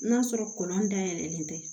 N'a sɔrɔ kolɔn dayɛlɛlen tɛ